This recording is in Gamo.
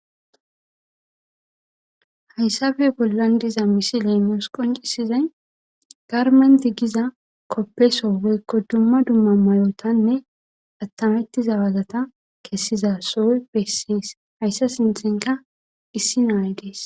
Hyssafe bollan diza misiley mos qoncisizay garmenti giza koppeso weykko dumma dumma mayotanne attamettiza wazata kessiza sooy bessees hayssa sintinka issi naay dees.